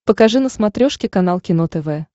покажи на смотрешке канал кино тв